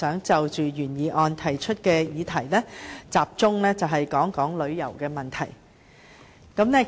就原議案提出的議題，我想集中討論旅遊方面的問題。